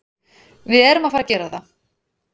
Við erum að fara að gera það.